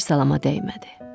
Bir salama dəymədi.